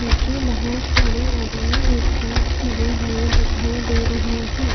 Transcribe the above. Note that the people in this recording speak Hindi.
नीचे बहुत सारे आदमी एक साथ खड़े हुए दिखाई दे रहे हैं।